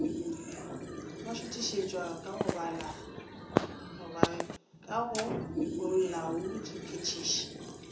ba šuthišetšwa ka go bolaodiphethiši